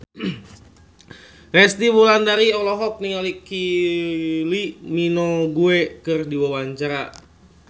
Resty Wulandari olohok ningali Kylie Minogue keur diwawancara